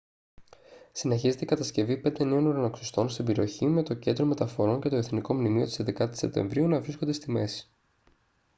συνεχίζεται η κατασκευή πέντε νέων ουρανοξυστών στην περιοχή με το κέντρο μεταφορών και το εθνικό μνημείο της 11ης σεπτεμβρίου να βρίσκονται στη μέση